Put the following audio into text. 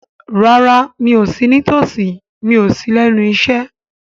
Rárá, mi ò sí ní tòsí, mi ò sí lẹ́nu iṣẹ́